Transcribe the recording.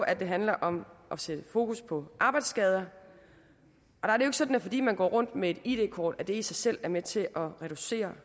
at det handler om at sætte fokus på arbejdsskader og sådan at fordi man går rundt med et id kort er det i sig selv med til at reducere